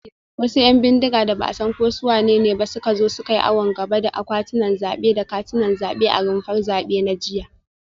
Wasu ‘yan bindiga da ba a san ko su wanene ba ne suka zo suka yi awon gaba da akwatunan zabe da katunan zabe a rumfar zabe na jiya